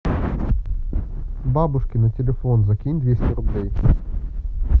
бабушке на телефон закинь двести рублей